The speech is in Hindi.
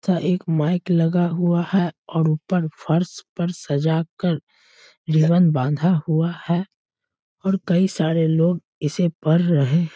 तथा एक माइक लगा हुआ है और ऊपर फर्स पर सजाकर रिबन बांधा हुआ है और कई सारे लोग इसे पढ़ रहे --